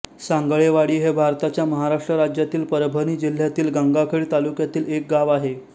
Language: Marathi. सांगळेवाडी हे भारताच्या महाराष्ट्र राज्यातील परभणी जिल्ह्यातील गंगाखेड तालुक्यातील एक गाव आहे